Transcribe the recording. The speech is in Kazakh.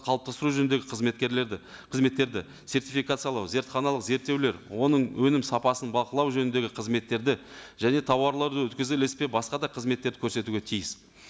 қалыптастыру жөніндегі қызметкерлерді қызметтерді сертификациялау зертханалық зерттеулер оның өнім сапасын бақылау жөніндегі қызметтерді және тауарларды өткізу ілеспе басқа да қызметтерді көрсетуге тиіс